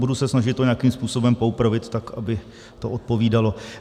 Budu se snažit to nějakým způsobem poopravit, tak aby to odpovídalo.